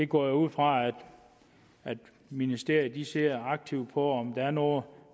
går ud fra at ministeriet ser aktivt på om der er noget